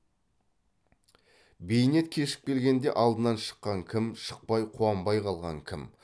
бейнет кешіп келгенде алдынан шыққан кім шықпай қуанбай қалған кім